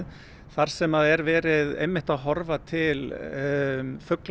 þar sem er verið að horfa til